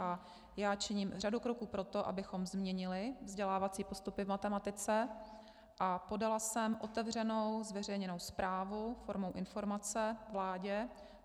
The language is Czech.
A já činím řadu kroků pro to, abychom změnili vzdělávací postupy v matematice, a podala jsem otevřenou zveřejněnou zprávu formou informace vládě.